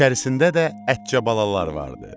İçərisində də ətçə balalar vardı.